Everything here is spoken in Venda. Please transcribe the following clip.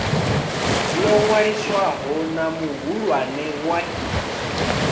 ḽo ṅwaliswaho na muhulwane wa